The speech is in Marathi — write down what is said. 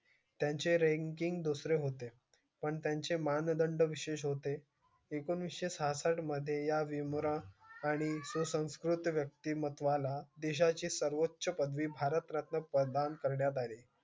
त्याचे ranking दुसरे होते पण त्याचे मान बंद विशेष होते एकोणेशी सहासष्ट मध्ये या भीमराव आणि सुसंस्कृत यक्तीमत्वाला देशाची ची सर्वाचं पदवी भारतरत्न प्रदान कार्यांत अली.